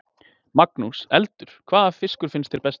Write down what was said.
Magnús: Eldur, hvaða fiskur finnst þér bestur?